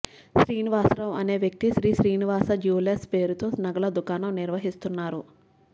శ్రీనివాసరావు అనే వ్యక్తి శ్రీశ్రీనివాస జ్యూవెలర్స్ పేరుతో నగల దుకాణం నిర్వహిస్తున్నారు